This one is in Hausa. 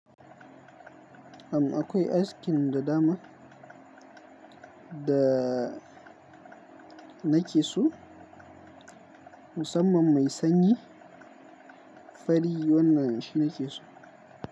Am, akwai askin da dama da nake so, musamman mai sanyi fari wannan shi nake so.